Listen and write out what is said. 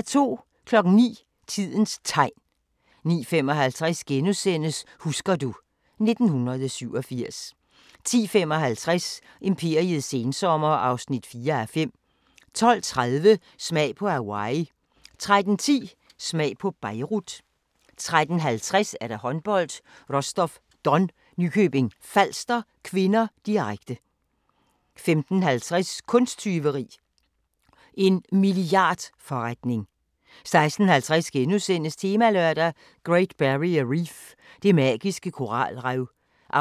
09:00: Tidens Tegn 09:55: Husker du ... 1987 * 10:55: Imperiets sensommer (4:5) 12:30: Smag på Hawaii 13:10: Smag på Beirut 13:50: Håndbold: Rostov-Don – Nykøbing Falster (k), direkte 15:50: Kunsttyveri – en milliardforretning 16:50: Temalørdag: Great Barrier Reef – det magiske koralrev (1:3)* 17:40: